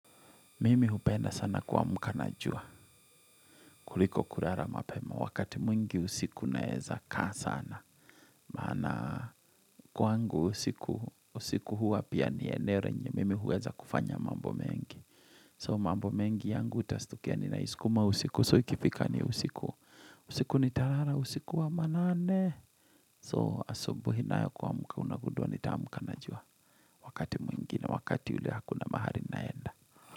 Mimi hupenda sana kuamka na jua. Kuliko kurara mapema wakati mwingi usiku naeza kaa sana. Maana kwangu usiku usiku hua pia ni eneo renye mimi huweza kufanya mambo mengi. So mambo mengi yangu utastukia ninaisukuma usiku. So ikifika ni usiku. Usiku ni tarara usiku wa manane. So asubuhi nayo kuamuka unagudua nitaamuka na jua. Wakati mwingi na wakati ule hakuna mahali naenda.